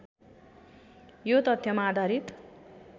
यो तथ्यमा आधारित